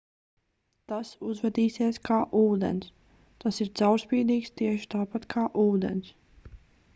tas uzvedīsies kā ūdens tas ir caurspīdīgs tieši tāpat kā ūdens